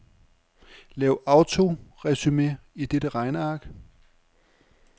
Lav autoresumé i dette regneark.